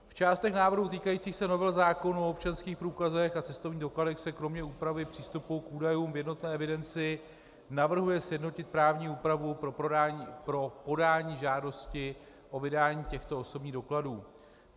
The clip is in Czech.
V částech návrhu týkajících se novel zákonů o občanských průkazech a cestovních dokladech se kromě úpravy přístupu k údajům v jednotné evidenci navrhuje sjednotit právní úpravu pro podání žádosti o vydání těchto osobních dokladů.